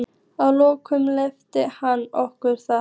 Að lokum leyfði hann okkur það.